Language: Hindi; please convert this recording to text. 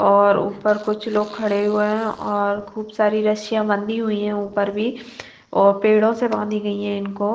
और ऊपर कुछ लोग खड़े हुए हैं और खूब सारी रस्सियाँ बंधी हुई हैं ऊपर भी और पेड़ों से बाँधी गई हैं इनको।